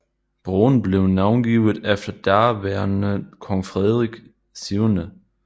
Broen blev navngivet efter daværende Kong Frederik 7